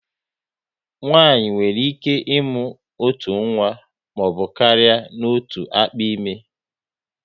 Nwaanyị nwere ike ịmụ otu nwa maọbụ karịa n'otu akpa ime